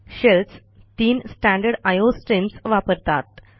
shells तीन standard IO streams वापरतात